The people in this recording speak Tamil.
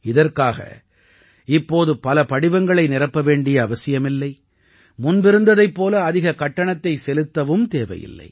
இதற்காக இப்போது பல படிவங்களை நிரப்ப வேண்டிய அவசியமில்லை முன்பிருந்ததைப் போல அதிக கட்டணத்தைச் செலுத்தவும் தேவையில்லை